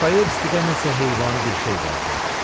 Dostoyevskidə nəsə heyvani bir şey vardı.